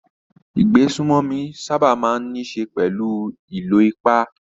Ìgbésùnmòmí sábà máa ń níṣe pẹ̀lú ìlò ipá.